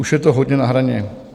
Už je to hodně na hraně.